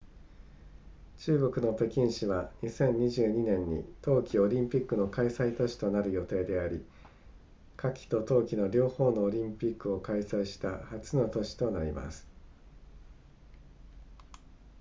中国の北京市は2022年に冬季オリンピックの開催都市となる予定であり夏季と冬季の両方のオリンピックを開催した初の都市となります